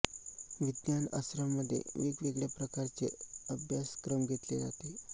विज्ञान आश्रम मध्ये वेगवेगळ्या प्रकारचे अभ्य्साक्रम घेतले जाते